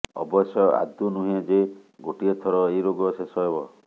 ଅବଶ୍ୟ ଆଦୌ ନୁହେଁ ଯେ ଗୋଟିଏ ଥର ଏହି ରୋଗ ଶେଷ ହେବ